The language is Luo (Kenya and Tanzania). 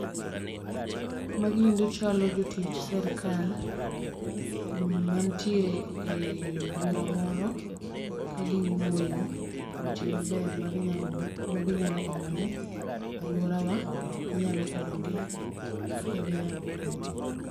Magiendi chalo jotij sirkal manitie e bura moro, kagi wuoyo weche maber ma gi nyalo omo ne aluorowa, ma nyalo konyo gi kaka gi nyalo konyo gi.